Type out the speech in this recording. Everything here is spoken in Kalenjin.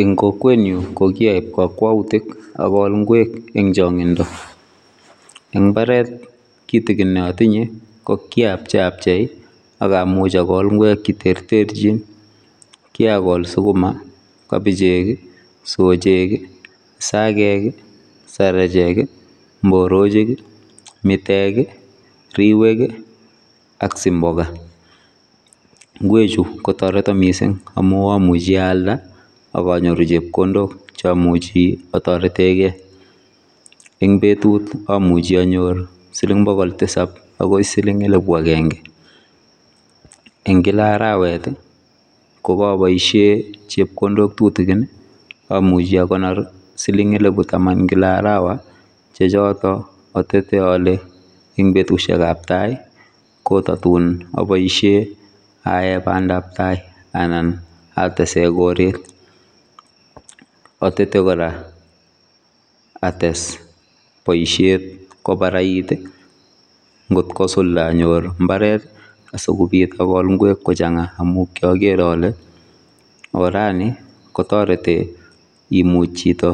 Eng kokwetnyu kokiaib kakwautik akol ngwek eng chongindo eng mbaret kitikin ne atinye kokiapcheiabchei akamuch agol ngwek cheterterchin kiakol sukuma, kabichek, sochek, sakeek, sarachek, mborochik, mitek, riwek ak simboka. Ngwechu kotoreto mising amu amuchi aalda akanyoru chepkondok cheamuchi atoretegei eng betut amuji anyor siling bokol tisap agoi siling elbu agenge eng kila arawet kokaboisie chepkondok tutigin amuchi akonor siling elibu taman kila arawa che chotok atete ale ing betusiekab tai kotatun aboisie aae bandabtai anan atese koret. Atete kora ates boisiet kobarait ngotkosulda ayor mbaret asikobit akol ngwek kochanga amukiager ale orani kotoreti imuch chito